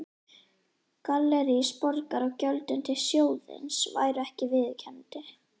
Gallerís Borgar á gjöldum til sjóðsins væru ekki viðunandi.